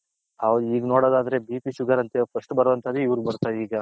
ಹೌದು ಈಗ ನೋಡದ್ ಆದ್ರೆ BP Sugar ಅಂತ First ಬರೋವಂತದೆ ಇವರಿಗೆ ಬರ್ತಿದೆ ಈಗ .